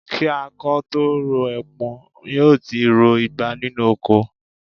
Kí akọ ó tó rọ ẹpọ̀n, yóò ti ro igba nínú oko